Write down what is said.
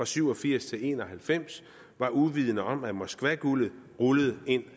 syv og firs til en og halvfems var uvidende om at moskvaguldet rullede ind